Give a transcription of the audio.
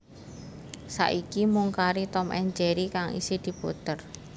Saiki mung kari Tom and Jerry kang isih diputer